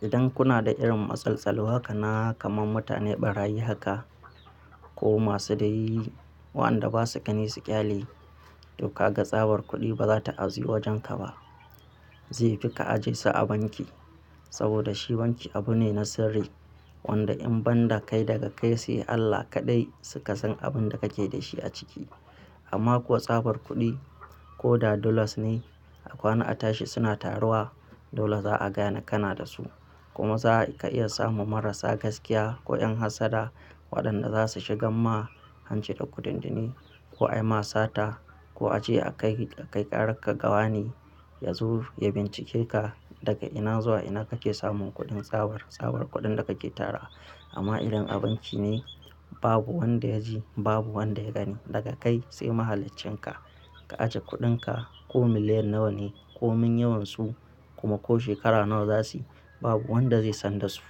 Idan kuna da irin matsaloli haka na, kaman mutane ɓarayi haka ko masu da yi waɗanda ba su gani su ƙyale, to kaga tsabar kuɗi ba za ta ajiye wajenka ba. Zai fi ka ajiye su a banki saboda shi banki abu ne na sirri wanda in banda kai daga kai sai Allah kaɗai suka san abin da kake da shi a ciki. Amma kuwa tsabar kuɗi ko da dollars ne a kwana a tashi suna taruwa, dole za'a gane kana da su. Kuma za ka iya samun marasa gaskiya ko 'yan hassada waɗanda za su shigar ma hanci da kuɗin dinnan, ko ayi ma sata ko a je a kai ƙararka gawa ne ya bincike ka daga ina zuwa ina kake samun kuɗin tsabar, tsabar kuɗin da kake tara. Amma irin banki ne babu wanda ya ji babu wanda ya gani. Daga kai sai mahalaccenka ka ajiye kuɗinka ko miliyan nawa ne ko min yawansu kuma ko shekara nawa za su yi babu wanda zai san da su.